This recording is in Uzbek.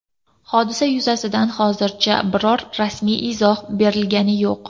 Hodisa yuzasidan hozircha biror rasmiy izoh berilgani yo‘q.